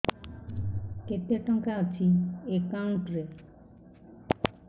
କେତେ ଟଙ୍କା ଅଛି ଏକାଉଣ୍ଟ୍ ରେ